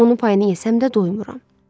Onun payını yesəm də doymuram.